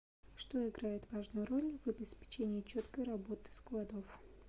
что играет важную роль в обеспечении четкой работы складов